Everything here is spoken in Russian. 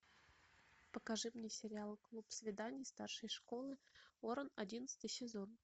покажи мне сериал клуб свиданий старшей школы оран одиннадцатый сезон